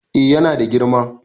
eh yana da girma